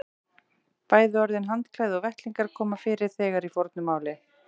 Bæði orðin handklæði og vettlingur koma fyrir þegar í fornu máli.